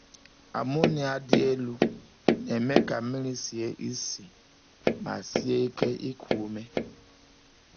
Ammonia dị elu na-eme ka mmiri sie isi ma sie ike iku ume.